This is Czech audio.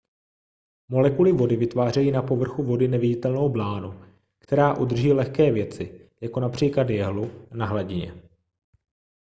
molekuly vody vytvářejí na povrchu vody neviditelnou blánu která udrží lehké věci jako například jehlu na hladině